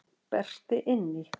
Berti inn í.